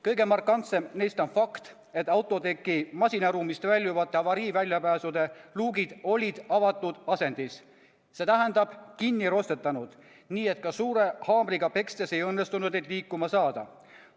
Kõige markantsem neist on fakt, et autoteki masinaruumist väljuvate avariiväljapääsude luugid olid avatud asendis, st kinni roostetanud, nii et ka suure haamriga pekstes ei õnnestunud neid liikuma saada.